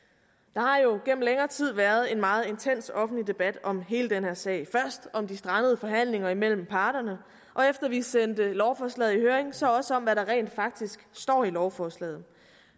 der har jo gennem længere tid været en meget intens offentlig debat om hele den her sag først om de strandede forhandlinger mellem parterne og efter at vi sendte lovforslaget i høring så også om hvad der rent faktisk står i lovforslaget